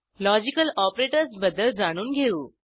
logical operators बद्दल जाणून घेऊ